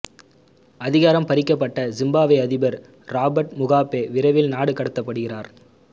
அதிகாரம் பறிக்கப்பட்ட ஜிம்பாப்வே அதிபர் ராபர்ட் முகாபே விரைவில் நாடு கடத்தப்படுகிறார்